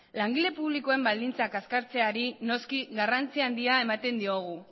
langile publikoen baldintzak kaskartzeari noski garrantzi handia ematen diogu